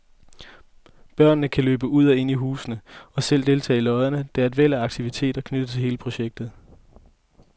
Børnene kan løbe ud og ind i husene og selv deltage i løjerne, og der er et væld af aktiviteter knyttet til hele projektet.